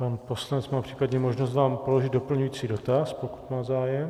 Pan poslanec má případně možnost vám položit doplňující dotaz, pokud má zájem.